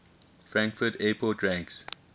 frankfurt airport ranks